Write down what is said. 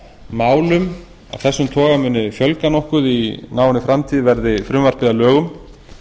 málum af þessum toga muni fjölga nokkuð í náinni framtíð verði frumvarpið að lögum